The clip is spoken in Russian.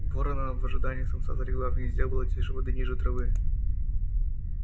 ворона в ожидании самца залегла в гнезде была тише воды ниже травы